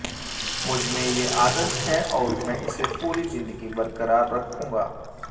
मुझमें ये आदत है और मैं इसे पूरी जिंदगी बरकरार रखूंगा